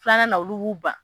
Filanan na olu b'u ban.